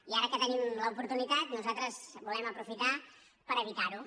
i ara que en tenim l’oportunitat nosaltres la volem aprofitar per evitar ho